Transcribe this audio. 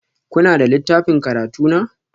Kuna da littafin karatu na?